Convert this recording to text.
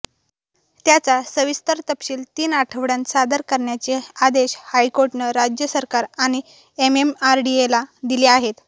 त्याचा सविस्तर तपशील तीन आठवड्यांत सादर करण्याचे आदेश हायकोर्टानं राज्य सरकार आणि एमएमआरडीएला दिले आहेत